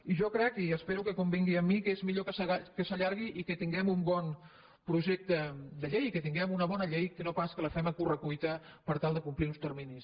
i jo crec i espero que convingui amb mi que és millor que s’allargui i que tinguem un bon projecte de llei que tinguem una bona llei que no pas que la fem a corre cuita per tal de complir uns terminis